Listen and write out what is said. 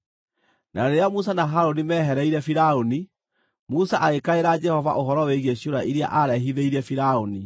Na rĩrĩa Musa na Harũni mehereire Firaũni, Musa agĩkaĩra Jehova ũhoro wĩgiĩ ciũra iria aarehithĩirie Firaũni.